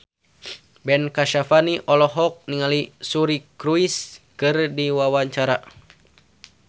Ben Kasyafani olohok ningali Suri Cruise keur diwawancara